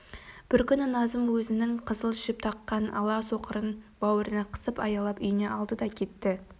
бір күні назым өзінің қызыл жіп таққан ала соқырын бауырына қысып аялап үйіне алды да кетті